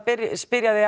spyrja þig